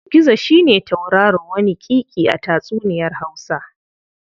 Gizo shi ne tauraro waniƙiƙi a tatsuniyar Hausa.